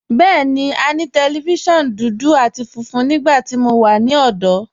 Bẹẹni, à ní tẹlifíṣiọ̀nù dúdú àti fúnfún nígbàtí mó wà ní ọ̀dọ̀.